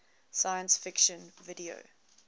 science fiction video